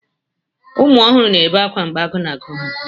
Ụmụ ọhụrụ na-ebe akwa mgbe agụụ na-agụ ha.